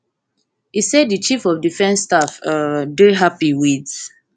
e say di chief of defence staff um dey happy wit